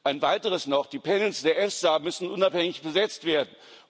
Ein Weiteres noch Die panels der EFSA müssen unabhängig besetzt werden.